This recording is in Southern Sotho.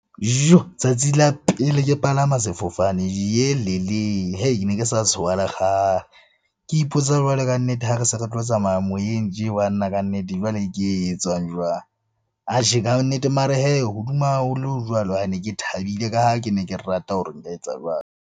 Tsatsi la pele ke palama sefofane ne ke sa tshoha lekgale. Ke ipotsa jwalo ka nnete ha re se re tlo tsamaya moyeng tje banna kannete jwale ke e etsang jwang? Atjhe ka nnete, mara hee hodima haholo jwalo ne ke thabile ka ha ke ne ke rata hore nka etsa jwalo.